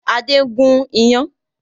Adé ń gùn iyán